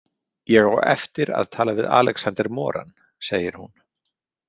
Ég á eftir að tala við Alexander Moran, segir hún.